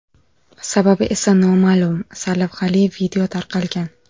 Sababi esa noma’lum” sarlavhali video tarqalgan.